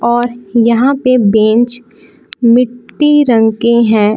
और यहां पे बैंच मिटी रंग के हैं।